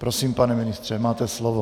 Prosím, pane ministře, máte slovo.